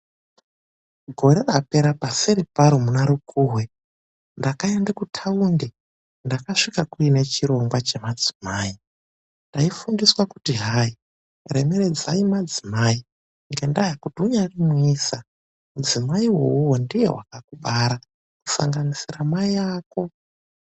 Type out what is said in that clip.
Gore rapera paseri paro muna rukuhwe ndakaende kutaundi ndakasvika kuine chirongwa chemadzimai. Taifundiswa kuti hayi remeredzai madzimai ngendaa yekuti unyaari muisa mudzimaiwowo ndiye vakakubara kusanganisira mai ako.